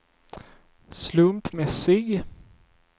slumpmässig